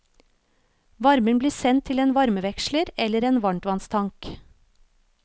Varmen blir sendt til en varmeveksler eller en varmtvannstank.